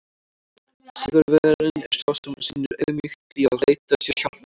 Sigurvegarinn er sá sem sýnir auðmýkt í að leita sér hjálpar!